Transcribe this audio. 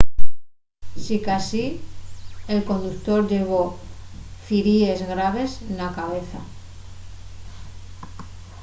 sicasí el conductor llevó firíes graves na cabeza